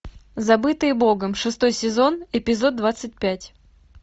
забытые богом шестой сезон эпизод двадцать пять